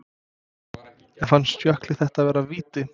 En fannst Jökli þetta vera víti?